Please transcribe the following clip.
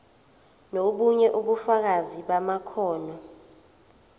nobunye ubufakazi bamakhono